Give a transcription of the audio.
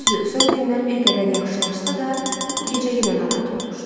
Düzdür, son günlər bir qədər yaxşılaşsa da, bu gecə yenə narahat olmuşdu.